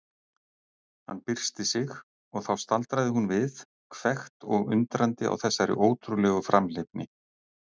Hann byrsti sig og þá staldraði hún við, hvekkt og undrandi á þessari ótrúlegu framhleypni.